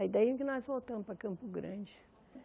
Aí daí que nós voltamos para Campo Grande.